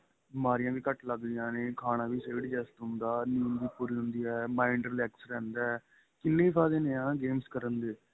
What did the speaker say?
ਬਿਮਾਰੀਆਂ ਵੀ ਘੱਟ ਲੱਗਦੀਆਂ ਨੇ ਖਾਣਾ ਵੀ ਸਹੀ adjust ਹੁੰਦਾ ਨੀਂਦ ਵੀ ਪੂਰੀ ਹੁੰਦੀ ਏ mind relax ਰਹਿੰਦਾ ਏ ਕਿੰਨੇ ਫਾਇਦੇ ਨੇ games ਕਰਨ ਦੇ